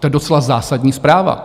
To je docela zásadní zpráva.